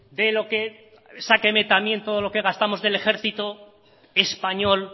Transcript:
de lo que sáqueme también todo lo que gastamos del ejercito español